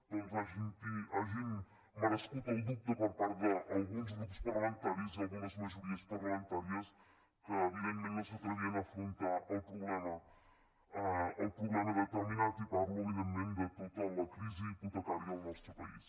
doncs hagin merescut el dubte per part d’alguns grups parlamentaris i algunes majories parlamentàries que evidentment no s’atrevien a afrontar el problema determinat i parlo evidentment de tota la crisi hipotecària al nostre país